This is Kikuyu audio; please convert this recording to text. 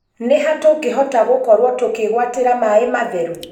Ni ha tungihota gukorwo tukigwatira maai matheru?